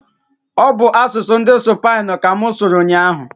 ọ bụ asụsụ ndị Supainu ka mụ sụrụ ụnyaahụ.